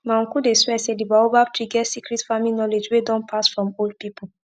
my uncle dey swear say the baobab tree get secret farming knowledge wey don pass from old people